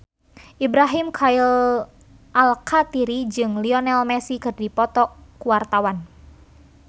Ibrahim Khalil Alkatiri jeung Lionel Messi keur dipoto ku wartawan